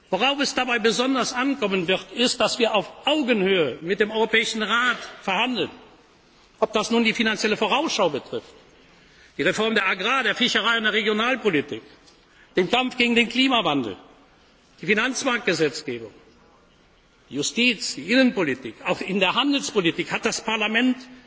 verleihen. Worauf es dabei besonders ankommen wird, ist, dass wir auf Augenhöhe mit dem Europäischen Rat verhandeln ob das nun die Finanzielle Vorausschau betrifft, die Reform der Agrar Fischerei und der Regionalpolitik, den Kampf gegen den Klimawandel, die Finanzmarktgesetzgebung, die Justiz, die Innenpolitik auch in der Handelspolitik hat das